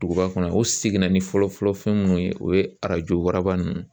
Duguba kɔnɔ u seginna ni fɔlɔ fɔlɔ fɛn minnu ye o ye arajo waraba ninnu